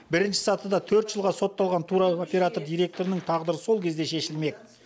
бірінші сатыда төрт жылға сотталған туроператор директорының тағдыры сол кезде шешілмек